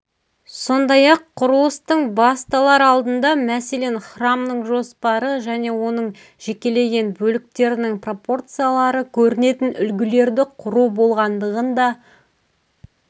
сондай-ақ құрылыстың басталар алдында мәселен храмның жоспары және оның жекеленген бөліктерінің пропорциялары көрінетін үлгілерді құру болғандығын да